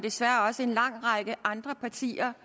desværre også en lang række andre partier